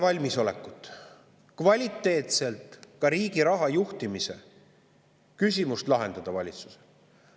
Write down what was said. Valitsusel ei ole valmisolekut riigi raha juhtimise küsimust kvaliteetselt lahendada.